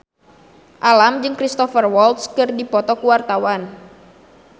Alam jeung Cristhoper Waltz keur dipoto ku wartawan